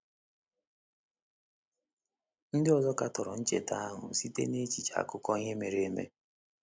Ndị ọzọ katọrọ ncheta ahụ site n’echiche akụkọ ihe mere eme.